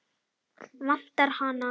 Vantar hana?